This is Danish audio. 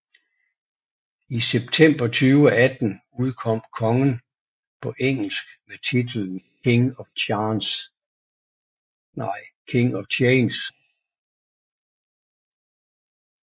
I september 2018 udkom Kongen på engelsk med titlen King of Change